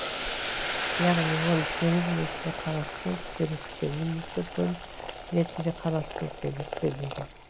яғни оны теңіз ретінде қарастыру керек пе немесе көл ретінде қарастыру керек пе деген